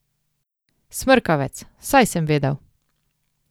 Smrkavec, saj sem vedel.